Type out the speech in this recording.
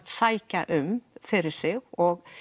sækja um fyrir sig og